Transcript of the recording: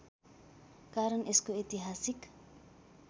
कारण यसको ऐतिहासिक